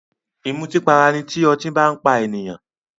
Ìmùtípara ni tí ọtí bá n pa èèyàn